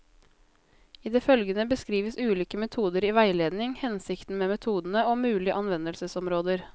I det følgende beskrives ulike metoder i veiledning, hensikten med metodene, og mulige anvendelsesområder.